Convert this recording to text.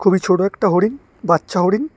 খুবই ছোট একটা হরিণ বাচ্চা হরিণ।